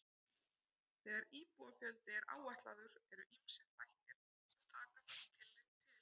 Þegar íbúafjöldi er áætlaður eru ýmsir þættir sem taka þarf tillit til.